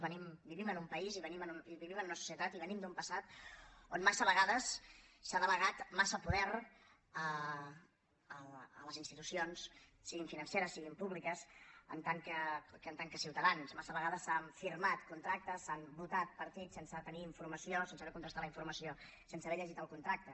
vivim en un país i vivim en una societat i venim d’un passat on massa vegades s’ha delegat massa poder a les institucions siguin financeres siguin públiques en tant que ciutadans massa vegades s’han firmat contractes s’han votat partits sense tenir informació sense haver contrastat la informació sense haver llegit el contracte